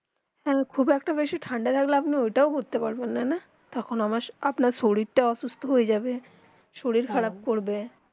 হেঁ খুব বেশি একটা খাদ্যা থাকতে আপনি অতটা করতেন পারবেন না তখন আপনার শরীর তা অসুস্থ হয়ে যাবে শরীর খারাব পর্বে